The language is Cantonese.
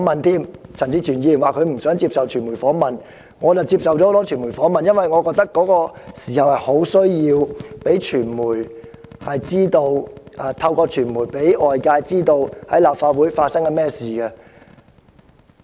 雖然陳志全議員婉拒傳媒訪問，但我則接受了多間傳媒機構訪問，因為我覺得當時有迫切需要透過傳媒讓外界知道綜合大樓內的情況。